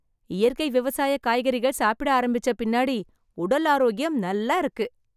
இயற்கை விவசாய காய்கறிகள் சாப்பிட ஆரம்பிச்ச பின்னாடி உடல் ஆரோக்கியம் நல்லா இருக்கு.